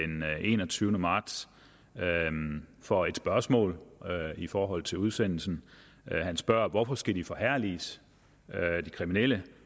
enogtyvende marts for et spørgsmål i forhold til udsendelsen han spørger hvorfor skal de forherliges de kriminelle